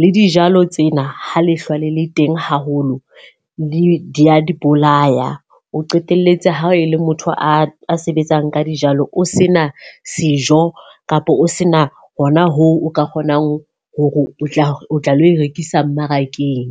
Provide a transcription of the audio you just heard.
le dijalo tsena ha lehlwa le le teng haholo di a di bolaya. O qetelletse ha e le motho a sebetsang ka dijalo, o se na sejo kapa o se na hona hoo o ka kgonang hore o tla o tla lo rekisa mmarakeng.